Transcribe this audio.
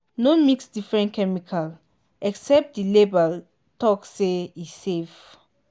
no mix different chemical except the label talk say e safe.